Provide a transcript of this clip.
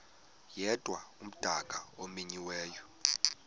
yedwa umdaka omenyiweyo